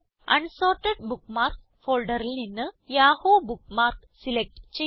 unsorted bookmarks ഫോൾഡറിൽ നിന്ന് Yahoo bookmark select ചെയ്യുക